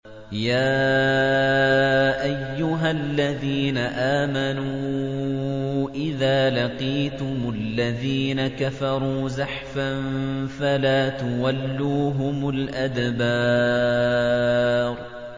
يَا أَيُّهَا الَّذِينَ آمَنُوا إِذَا لَقِيتُمُ الَّذِينَ كَفَرُوا زَحْفًا فَلَا تُوَلُّوهُمُ الْأَدْبَارَ